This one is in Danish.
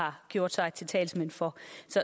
har gjort sig til talsmænd for